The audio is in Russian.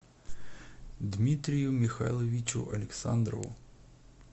дмитрию михайловичу александрову